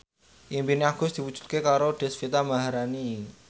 impine Agus diwujudke karo Deswita Maharani